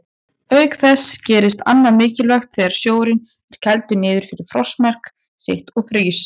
Auk þess gerist annað mikilvægt þegar sjórinn er kældur niður fyrir frostmark sitt og frýs.